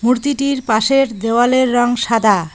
মূর্তিটির পাশের দেওয়ালের রং সাদা।